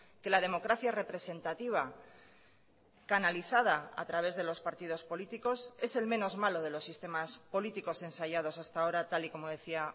que la democracia representativa canalizada a través de los partidos políticos es el menos malo de los sistemas políticos ensayados hasta ahora tal y como decía